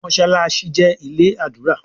Mossalassi jé ilé ádùrá